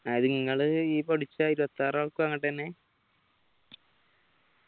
അതായത് നിങ്ങളീ പഠിച്ച ഇരുവതിയാർ ആൾക്കാർക്കും അങ്ങട്ടെന്നെ